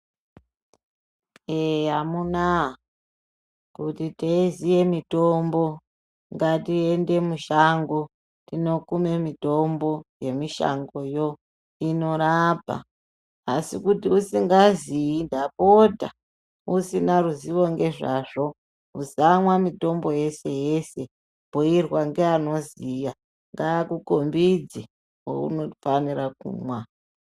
Ee amunaa kuti teiziya mitombo ngatiende mushango tinokuma mitombo yemushangoyo inorapa asikuti usingazii ndapota usina ruzivo ngezvazvo usamwa mitombo yeshe yeshe bhuirwa ngaanoziya ngaakukombidze waunofanira kumwa.